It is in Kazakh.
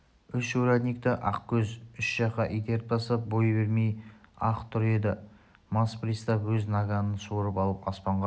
үш урядникті ақкөз үш жаққа итеріп тастап бой бермей-ақ тұр еді мас пристав өз наганын суырып алып аспанға